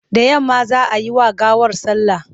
Da yamma za a yi wa gawar sallah.